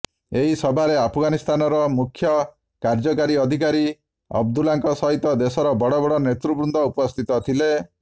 ଏହି ସଭାରେ ଆଫଗାନିସ୍ତାର ମୁଖ୍ୟକାର୍ଯ୍ୟକାରୀ ଅଧିକାରୀ ଅବ୍ଦୁଲ୍ଲାଙ୍କ ସହିତ ଦେଶର ବଡ଼ ବଡ଼ ନେତୃବୃନ୍ଦ ଉପସ୍ଥିତ ଥିଲେ